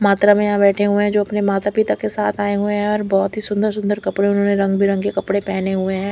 मात्रा में यहा बेठे हुए है जो अपने माता पिता के साथ आये हुए है और बहोत ही सुन्दर सुन्दर कपड़े उन्होंने रंग बिरेंज कपड़े पहने हुए है।